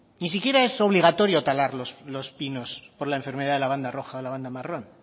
ni siquiera es obligatorio talar los pinos por la enfermedad de la banda roja o la banda marrón